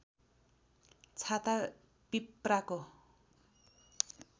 छाता पिप्राको